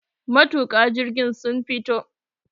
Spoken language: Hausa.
matuka. jirgi sun fito